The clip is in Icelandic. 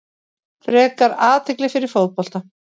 Frekar athygli fyrir fótbolta